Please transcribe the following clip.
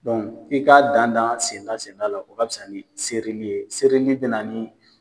ki ka danda danda senda senda la o ka fisa ni sereli ye sereli bɛ naani.